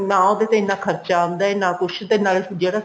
ਨਾ ਉਹਦੇ ਤੇ ਇੰਨਾ ਖਰਚਾ ਆਉਂਦਾ ਨਾ ਕੁੱਛ ਤੇ ਨਾਲੇ ਜਿਹੜਾ